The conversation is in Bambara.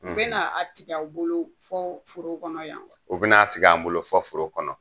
U bɛna a tigɛ aw bolo fɔ foro kɔnɔ yan wa? u bɛna a tigɛ an bolo fɔ foro kɔnɔ.